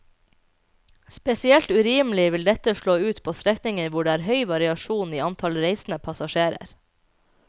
Spesielt urimelig vil dette slå ut på strekninger hvor det er høy variasjon i antall reisende passasjerer.